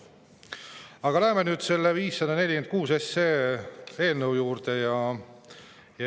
Aga lähme nüüd selle eelnõu 546 juurde.